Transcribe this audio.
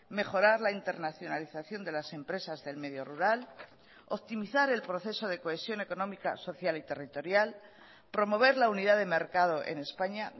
mejorar la internacionalización de las empresas del medio rural optimizar el proceso de cohesión económica social y territorial promover la unidad de mercado en españa